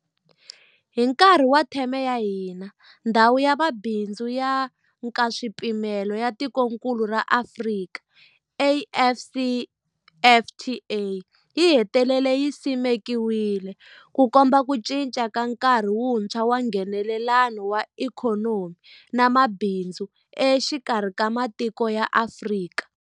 Hi nkarhi wa theme ya hina, Ndhawu ya Mabindzu ya Nkaswipimelo ya Tikokulu ra Afrika, AfCFTA yi hetelele yi simekiwile, Ku komba ku cinca ka nkarhi wuntshwa wa Nghenelelano wa ikhonomi na mabindzu exikarhi ka matiko ya Afrika.